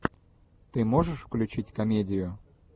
ты можешь включить комедию